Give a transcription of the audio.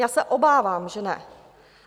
Já se obávám, že ne.